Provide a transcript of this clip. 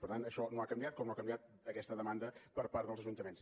per tant això no ha canviat com no ha canviat aquesta demanda per part dels ajuntaments